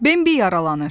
Bembi yaralanır.